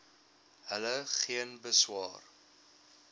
hulle geen beswaar